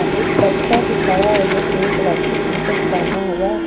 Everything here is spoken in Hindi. एक बच्चा भी खड़ा है जो पिंक कलर का टी शर्ट पहना हुआ।